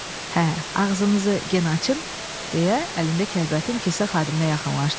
Hə, ağzınızı genə açın, deyə əlində kəlbətin kisə xadiminə yaxınlaşdı.